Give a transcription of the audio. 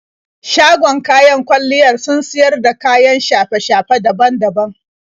Shagon kayan kwalliyar sun siyar da kayan shafe-shafe daban daban.